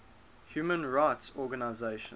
human rights organizations